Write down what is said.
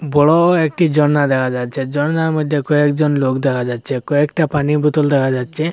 বড় একটি ঝর্না দেখা যাচ্ছে ঝর্ণার মধ্যে কয়েকজন লোক দেখা যাচ্ছে কয়েকটা পানি বোতল দেখা যাচ্ছে।